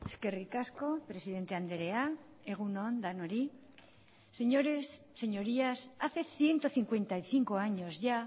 eskerrik asko presidente andrea egun on denoi señores señorías hace ciento cincuenta y cinco años ya